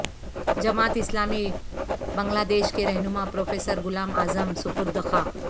جماعت اسلامی بنگلہ دیش کے رہنما پروفیسر غلام اعظم سپرد خاک